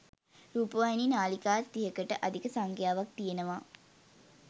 රූපවාහිනි නාළිකාත් තිහකට අධික සංඛ්‍යාවක් තියෙනව.